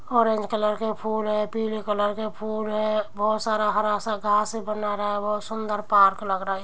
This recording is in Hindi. ऑरेंज कलर के फूल हैं पीले कलर के फूल हैं। बोहोत सारा हरा सा घास है बना रहा। बोहोत ही सुन्दर पार्क लग रहा है।